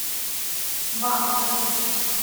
ма покажи